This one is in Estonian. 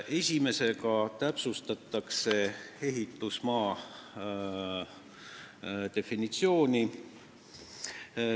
Esimesega täpsustatakse ehitusmaa definitsiooni.